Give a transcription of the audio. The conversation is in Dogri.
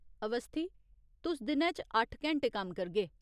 अवस्थी, तुस दिनै च अट्ठ घैंटे कम्म करगे।